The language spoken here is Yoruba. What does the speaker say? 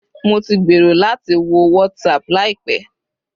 Mo ti gbèrò láti wo WhatsApp láìpẹ́